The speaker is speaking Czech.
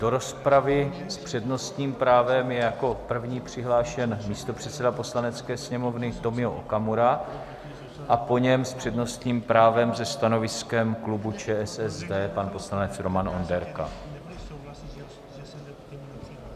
Do rozpravy s přednostním právem je jako první přihlášen místopředseda Poslanecké sněmovny Tomio Okamura a po něm s přednostním právem se stanoviskem klubu ČSSD pan poslanec Roman Onderka.